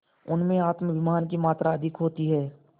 उनमें आत्माभिमान की मात्रा अधिक होती है